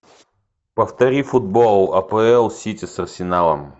повтори футбол апл сити с арсеналом